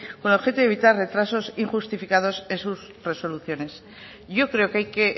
con objeto de evitar retrasos injustificados en sus resoluciones yo creo que hay que